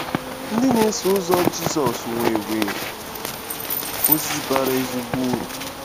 Ndị na-eso ụzọ Jizọs nwere ozi bara ezigbo uru.